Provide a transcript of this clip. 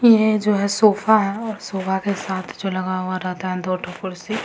ये जो है सोफ़ा है और सोफ़ा के साथ जो लगा हुआ रहता है दो ठो कुर्सी।